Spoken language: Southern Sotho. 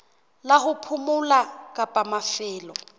la ho phomola kapa mafelo